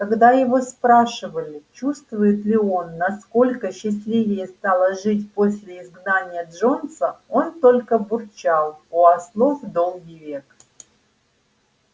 когда его спрашивали чувствует ли он насколько счастливее стало жить после изгнания джонса он только бурчал у ослов долгий век